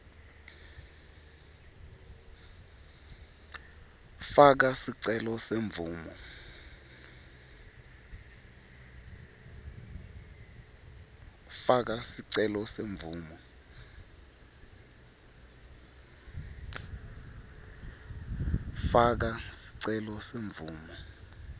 faka sicelo semvumo